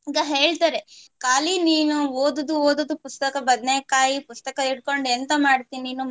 ಈಗ ಹೇಳ್ತಾರೆ ಕಾಲಿ ನೀನು ಓದುದು ಓದುದು ಪುಸ್ತಕ ಬದನೇಕಾಯಿ ಪುಸ್ತಕ ಇಟ್ಕೊಂಡು ಎಂತ ಮಾಡ್ತಿ ನೀನು